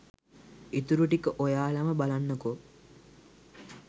ඉතුරු ටික ඔයාලම බලන්නකෝ